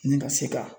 Ni ka se ka